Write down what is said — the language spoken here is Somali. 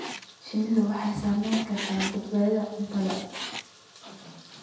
Shinnidu waxay saamayn kartaa badbaadada cuntada.